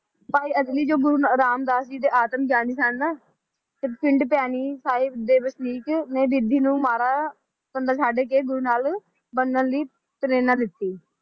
ਭਾਈ ਅਗਨੀ ਜੋ ਗੁਰੂ ਰਾਮਦਾਸ ਜੀ ਦੇ ਆਤਮਗਿਆਨ ਸਨ ਨਾ ਤੇ ਪਿੰਡ ਭੈਣੀ ਸਾਹਿਬ ਦੇ ਵਸਨੀਕ ਨੇ ਬਿਧੀ ਨੂੰ ਮਾੜਾ ਬੰਦਾ ਛੱਡ ਕੇ ਗੁਰੂ ਨਾਲ ਬਣਨ ਲਈ ਪ੍ਰੇਰਨਾ ਦਿੱਤੀ